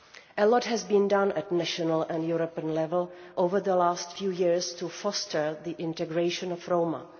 A lot has been done at national and European level over the past few years to foster the integration of Roma.